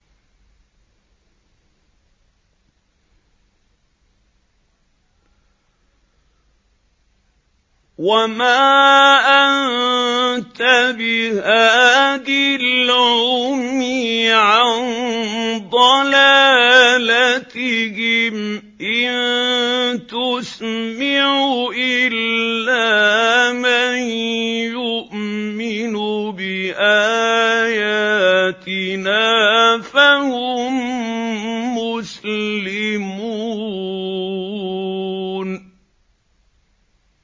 وَمَا أَنتَ بِهَادِ الْعُمْيِ عَن ضَلَالَتِهِمْ ۖ إِن تُسْمِعُ إِلَّا مَن يُؤْمِنُ بِآيَاتِنَا فَهُم مُّسْلِمُونَ